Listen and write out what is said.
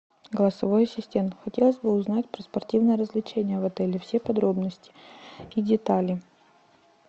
голосовой ассистент хотелось бы узнать про спортивные развлечения в отеле все подробности и детали